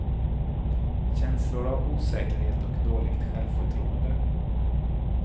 Känslor av osäkerhet och dåligt självförtroende.